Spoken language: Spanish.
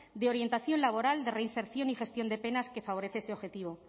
de orientación laboral de reinserción y gestión de penas que favorece ese objetivo